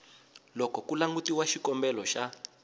loko ku langutiwa xikombelo xa